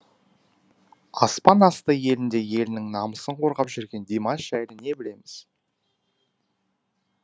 аспан асты елінде елінің намысын қорғап жүрген димаш жайлы не білеміз